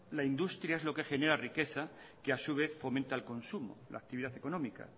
la industria es lo que genera riqueza que a su vez fomenta el consumo la actividad económica